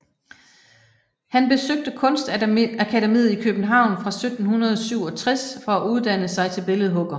Han besøgte Kunstakademiet i København fra 1767 for at uddanne sig til billedhugger